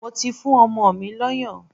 Mo ti fún ọmọ mi lọ́yàn.